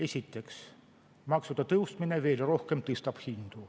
Esiteks, maksude tõstmine veel rohkem tõstab hindu.